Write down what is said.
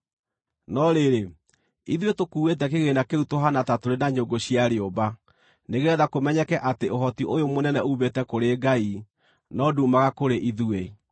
No rĩrĩ, ithuĩ tũkuuĩte kĩgĩĩna kĩu tũhaana ta tũrĩ na nyũngũ cia rĩũmba nĩgeetha kũmenyeke atĩ ũhoti ũyũ mũnene uumĩte kũrĩ Ngai no nduumaga kũrĩ ithuĩ.